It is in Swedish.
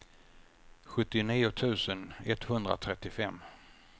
sjuttionio tusen etthundratrettiofem